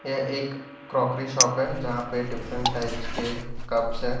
यह एक crockery shop है जहां पे डिफरेंट टाइप्स के कपस हैं।